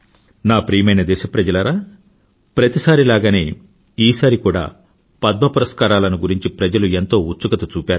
నా ప్రియమైన దేశప్రజలారా ప్రతిసారిలాగనే ఈసారి కూడా పద్మ పురస్కారాలను గురించి ప్రజలు ఎంతో ఉత్సుకత చూపారు